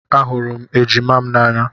Ahụrụ m ejima m n'anya